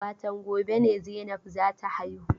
Watan gobe ne Zainab za ta haihu.